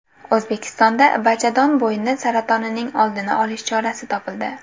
O‘zbekistonda bachadon bo‘yni saratonining oldini olish chorasi topildi.